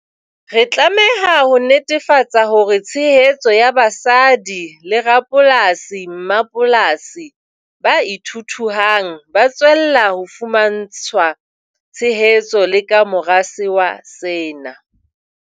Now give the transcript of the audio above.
Re tlameha ho netefatsa hore tshehetso ya basadi le rapolasi-mmapolasi ba ithuthuhang ba tswella ho fumantshwa tshehetso le ka mora sewa sena.